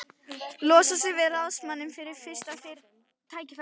Losa sig við ráðsmanninn við fyrsta tækifæri.